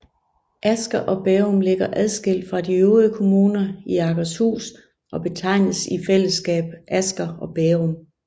Asker og Bærum ligger adskilt fra de øvrige kommuner i Akershus og betegnes i fællesskab Asker og Bærum